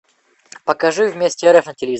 покажи вместе рф на телевизоре